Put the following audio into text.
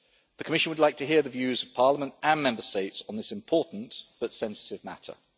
The Commission would like to hear the views of Parliament and Member States on this important but sensitive matter.